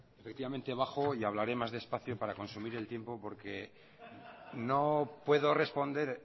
efectivamente bajo y hablaré más despacio para consumir el tiempo porque no puedo responder